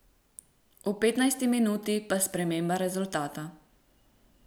V petnajsti minuti pa sprememba rezultata.